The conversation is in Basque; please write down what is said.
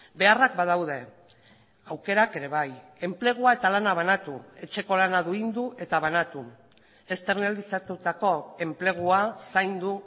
beharrak badaude aukerak ere bai enplegua eta lana banatu etxeko lana duindu eta banatu externalizatutako enplegua zaindu